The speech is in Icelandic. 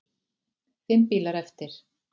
Fimm bílar eftir.